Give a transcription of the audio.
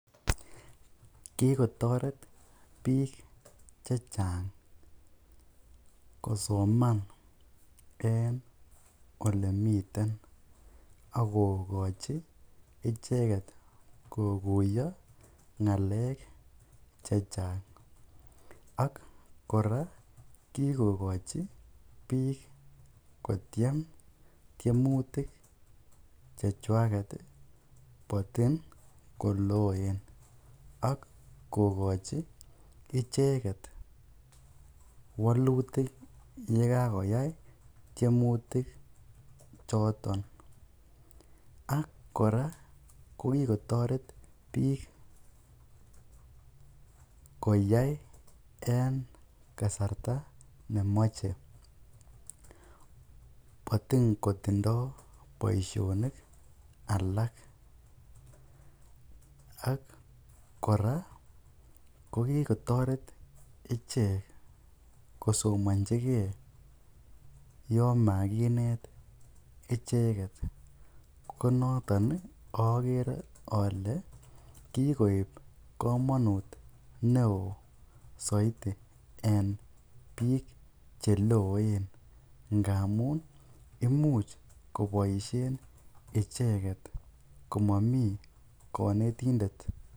Kikotoret biik chechang kosoman en olemiten ak kokochi icheket kokuiyo ngalek chechang ak kora kikochi biik kotiem tiemutik chechwaket motin koloen ak kokochi icheket wolutik yekakoyai tiemuti choton ak kora kikotoret biik koyai en kasarta nemoche motin kotindo boishonik alak ak kora ko kikotoret ichek kosomonchike yoon makinet icheket, konoton okere olee kikoib komonut neoo soiti en biik cheloen ngamun imuch koboishen icheket komomi konetindet.